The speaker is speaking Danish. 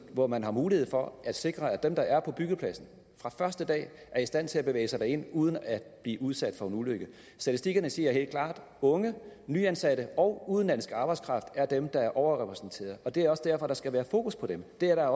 hvor man har mulighed for at sikre at dem der er på byggepladsen fra første dag er i stand til at bevæge sig derind uden at blive udsat for en ulykke statistikkerne siger helt klart at unge nyansatte og udenlandsk arbejdskraft er dem der er overrepræsenteret og det er også derfor der skal være fokus på dem det er